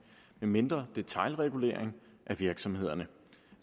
med mindre detailregulering af virksomhederne og